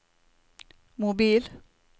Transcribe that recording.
mobil